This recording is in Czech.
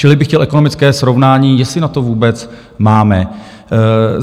Čili bych chtěl ekonomické srovnání, jestli na to vůbec máme.